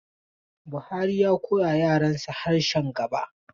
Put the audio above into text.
Bahari ya koyawa yaransa harshe Jaba.